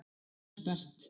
Herbert